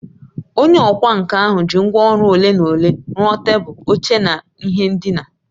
Onye ọkwá nkà ahụ ji ngwá ọrụ ole na ole rụọ tebụl, oche na ihe ndina